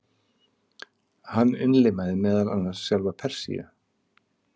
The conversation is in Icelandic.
Hann innlimaði meðal annars sjálfa Persíu.